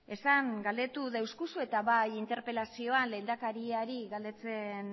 esan galdetu euskuzu eta bai interpelazioan lehendakariari galdetzen